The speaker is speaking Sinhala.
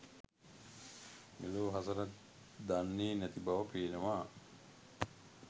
මෙලෝ හසරක් දන්නේ නැතිබව පේනවා.